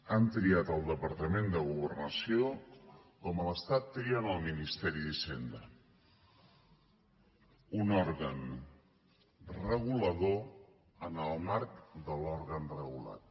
han triat el departament de governació com a l’estat trien el ministeri d’hisenda un òrgan regulador en el marc de l’òrgan regulat